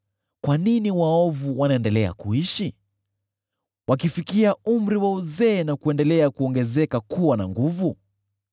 Kwa nini waovu wanaendelea kuishi, wakifikia umri wa uzee na kuendelea kuwa na nguvu?